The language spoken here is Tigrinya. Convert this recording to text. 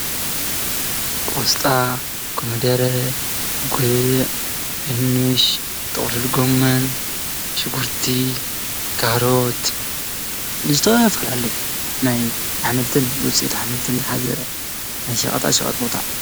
ቆስጣ፣ ኮመደረ፣ ጉዕ ፣ድንሽ፣ ጥቕልል ጎመን ፣ ሽጉርቲ ፣ ካሮት ዝተፈላለዩ ናይ ኣሕምልትን ውፅኢት ኣሕምልትን ዝሓዘ ናይ ሸቐጣሸቐጥ ቦታ።